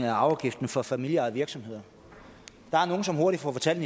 af arveafgiften for familieejede virksomheder der er nogle som hurtigt får fortalt